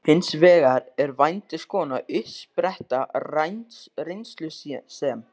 Hins vegar er vændiskonan uppspretta reynslu sem